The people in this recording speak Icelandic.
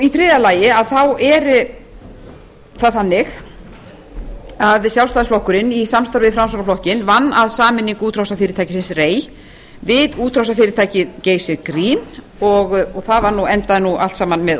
í þriðja lagi að þá er það þannig að sjálfstæðisflokkurinn í samstarfi við framsóknarflokkinn vann að sameiningu útrásarfyrirtækisins rei við útrásarfyrirtækið geysir green og það endaði nú allt saman með